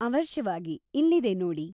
ಅವಶ್ಯವಾಗಿ, ಇಲ್ಲಿದೆ ನೋಡಿ.